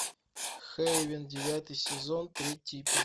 хейвен девятый сезон третий эпизод